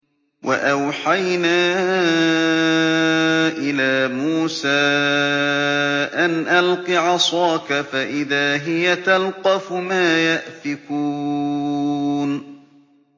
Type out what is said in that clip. ۞ وَأَوْحَيْنَا إِلَىٰ مُوسَىٰ أَنْ أَلْقِ عَصَاكَ ۖ فَإِذَا هِيَ تَلْقَفُ مَا يَأْفِكُونَ